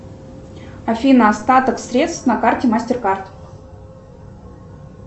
афина остаток средств на карте мастеркард